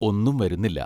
ഒന്നും വരുന്നില്ല.